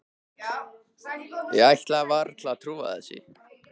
Ég ætlaði varla að trúa þessu.